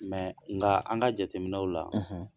nka an ka jateminɛw la